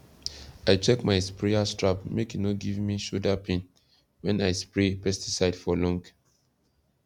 i check my sprayer strap make e no give me shoulder pain when i spray pesticide for long